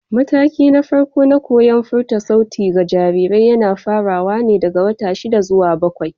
Matakina na farko na koyon furta sauti ga jarirai yana farawa ne daga wata shida zuwa bakwai.